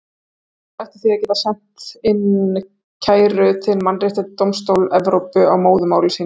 Flestir ættu því að geta sent inn kæru til Mannréttindadómstóls Evrópu á móðurmáli sínu.